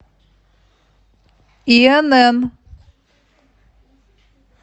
инн